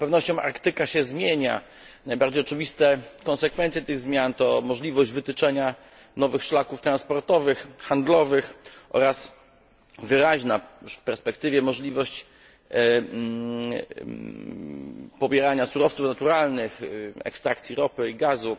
Z całą pewnością Arktyka się zmienia. Najbardziej oczywiste konsekwencje tych zmian to możliwość wytyczenia nowych szlaków transportowych, handlowych oraz wyraźna już w perspektywie możliwość pobierania surowców naturalnych, ekstrakcji ropy i gazu.